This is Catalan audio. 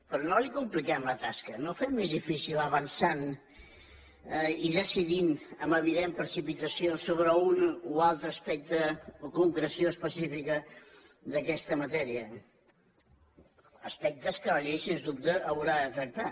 però no li compliquem la tasca no ho fem més difícil avançant i decidint amb evident precipitació sobre un o altre aspecte o concreció específica d’aquesta matèria aspectes que la llei sens dubte haurà de tractar